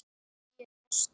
Ég er í losti.